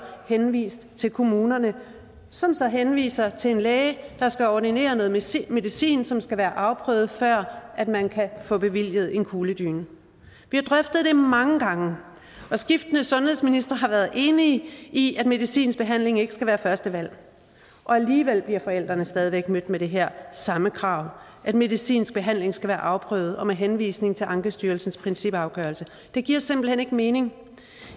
henvist til kommunerne som så henviser til en læge der skal ordinere noget medicin medicin som skal være afprøvet før man kan få bevilget en kugledyne vi har drøftet det mange gange og skiftende sundhedsministre har været enige i at medicinsk behandling ikke skal være første valg og alligevel bliver forældrene stadig væk mødt med det her samme krav at medicinsk behandling skal være afprøvet med henvisning til ankestyrelsens principafgørelse det giver simpelt hen ikke mening